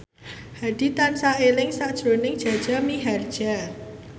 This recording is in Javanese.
Hadi tansah eling sakjroning Jaja Mihardja